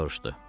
Soruşdu.